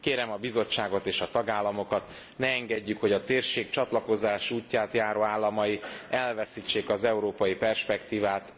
Kérem a Bizottságot és a tagállamokat, ne engedjük, hogy a térség csatlakozás útját járó államai elveszítsék az európai perspektívát.